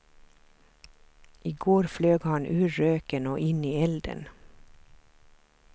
I går flög han ur röken och in i elden.